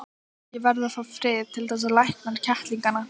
Ég verð að fá frið til þess að lækna kettlingana.